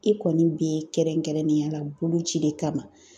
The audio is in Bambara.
E kɔni be kɛrɛnkɛrɛnnenya la bolo cili kama.